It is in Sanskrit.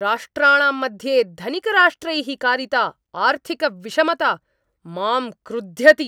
राष्ट्राणां मध्ये धनिकराष्ट्रैः कारिता आर्थिकविषमता माम् क्रुध्यति।